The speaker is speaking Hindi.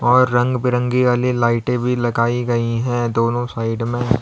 और रंग बिरंगी वाली लाइटे भी लगाई गई है दोनों साइड में।